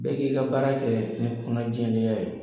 Bɛɛ k'i ka baara kɛ ni kɔnɔna jɛlenya ye.